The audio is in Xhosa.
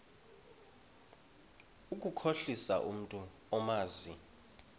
ukukhohlisa umntu omazi